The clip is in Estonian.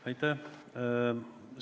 Aitäh!